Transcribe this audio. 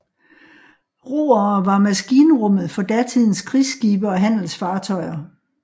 Roere var maskinrummet for datidens krigsskibe og handelsfartøjer